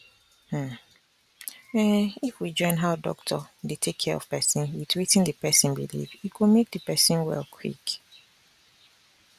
hmm um if we join how doctor dey take care of person with wetin the person believe e go make the person well quick